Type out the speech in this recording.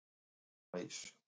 okkur finnst gott að fá rjómaís